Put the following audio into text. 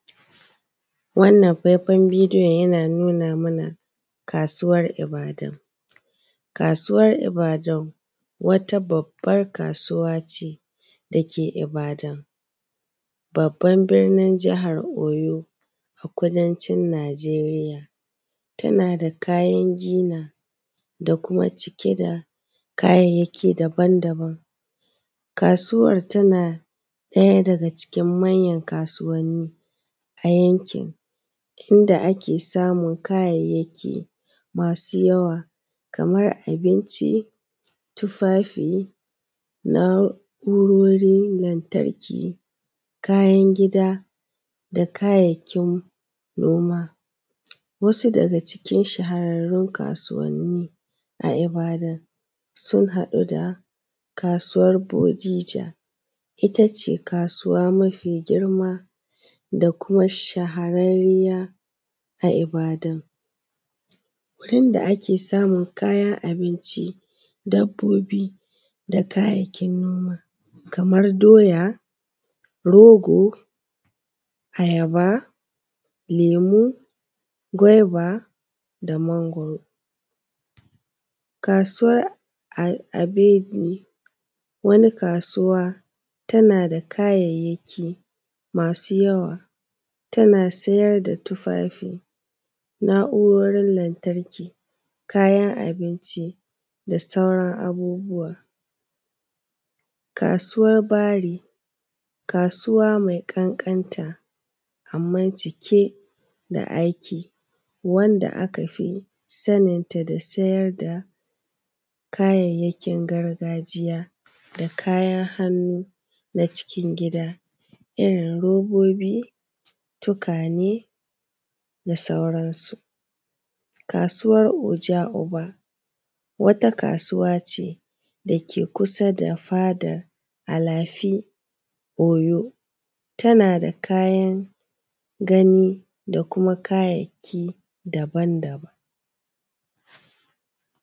Wannan faifan bidiyon yana nuna mana kasuwar Ibadan. Kasuwar ibadan wata babbar kasuwace da ke ibadan babban birnin jahar Oyo a kudancin Najeriya tana da kayan gina da kuma cike da kayayyaki daban daban. Kasuwar tana ɗaya daga cikin manyan kasuwanni a yankin inda ake samun kayayyaki masu yawa kamar abinci, tufafi, na’urorin lantarki, kayan gida, da kayayyakin noma. Wasu daga cikin shaharrarun kasuwanni a ibadan sun haɗa da kasuwar bojija ita ce kasuwa mafi girma da kuma shahararriya a Ibadan. Wurin da ake samun kayan abinci, dabbobi, da kayayyakin noma kamar doya, rogo, ayaba, lemu, gwaiba, da mangwaro. Kasuwan abeni wani kasuwa tana da kayayyaki masu yawa tana siyar da tufafi na’urorin lantarki, kayan abinci, da sauran abubuwa. Kasuwan baari, kasuwa mai ƙankanta amman cike da aiki, wanda aka fi saninta da siyar da kayayyakin gargajiya da kayan hannu na cikin gida irin robobi, tukwane, da sauransu. Kasuwan oja oba wata kasuwa ce da ke kusa da fadar alafi Oyo tana da kayan gani da kuma kayayyaki daban daban.